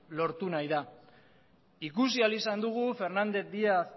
lortu nahi da ikusi ahal izan dugu fernández díaz